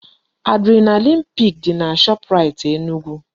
Adrenaline pik dị na Shoprite Enugu